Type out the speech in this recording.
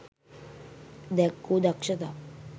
දැක්වූ දක්ෂතා